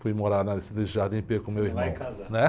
Fui morar na, nesse com meu irmão.